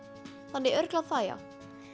þannig að örugglega það já